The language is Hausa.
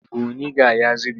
Buniga ya zube.